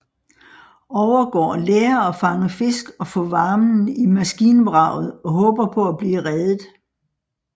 Overgård lærer at fange fisk og få varmen i maskinvraget og håber på at blive reddet